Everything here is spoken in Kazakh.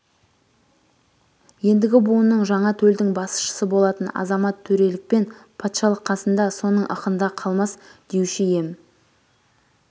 ендігі буынның жаңа төлдің басшысы болатын азаматтөрелікпен патшалық қасында соның ықында қалмас деуші ем